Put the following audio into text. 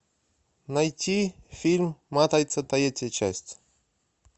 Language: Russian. найти фильм матрица третья часть